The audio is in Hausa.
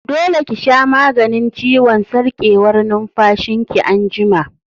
Dole ki sha maganin ciwon sarƙewar numfashin ki anjima!